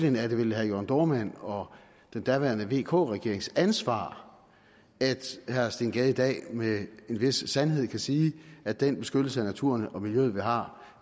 er det vel herre jørn dohrmanns og den daværende vk regerings ansvar at herre steen gade i dag med en vis sandhed kan sige at den beskyttelse af naturen og miljøet som vi har